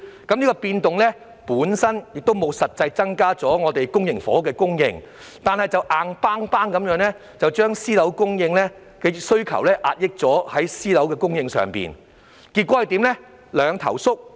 這項變動本身沒有實際增加公營房屋的供應，卻硬生生地壓抑私樓的供應，結果導致供應"兩頭縮"。